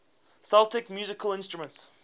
celtic musical instruments